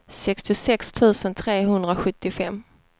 sextiosex tusen trehundrasjuttiofem